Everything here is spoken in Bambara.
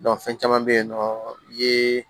fɛn caman bɛ yen nɔ ye